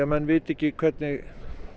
menn vita ekki hvernig